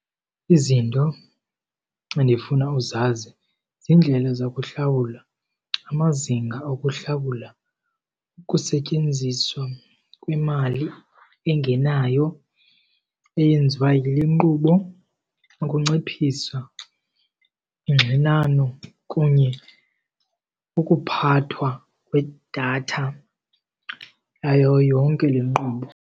Izinto endifuna uzazi ziindlela zokuhlawula, amazinga okuhlawula, ukusetyenziswa kwemali engenayo eyenziwa yile nkqubo, ukunciphisa ingxinano kunye ukuphathwa kwedatha yayo yonke le nkqubo.